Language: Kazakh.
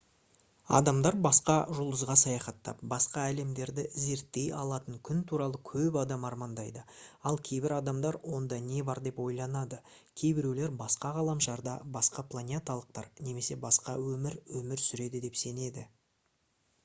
адамдар басқа жұлдызға саяхаттап басқа әлемдерді зерттей алатын күн туралы көп адам армандайды ал кейбір адамдар онда не бар деп ойланады кейбіреулер басқа ғаламшарда басқа планеталықтар немесе басқа өмір өмір сүреді деп сенеді